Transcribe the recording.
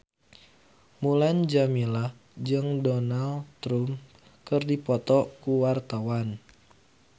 Mulan Jameela jeung Donald Trump keur dipoto ku wartawan